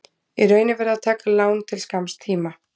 Í raun er verið að taka lán til skamms tíma.